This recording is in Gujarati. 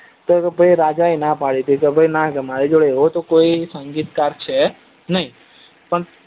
તો ભાઈ એ રાજા એ ના પડી હતી કે ના ભાઈ મારી જોડે એવો કોઈ સગીતકાર છે નઈ